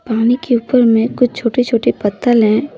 पानी के ऊपर में कुछ छोटे छोटे पत्तल है।